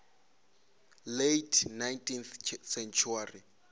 late nineteenth century